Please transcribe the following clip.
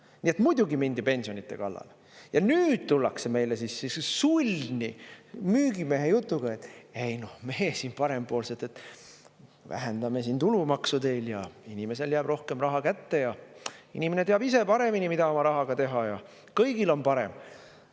Nii et muidugi mindi pensionide kallale ja nüüd tullakse meile sulni müügimehe jutuga: "Ei noh, me siin parempoolsed, vähendame siin tulumaksu teil ja inimesele jääb rohkem raha kätte ja inimene teab ise paremini, mida oma rahaga teha, ja kõigil on parem.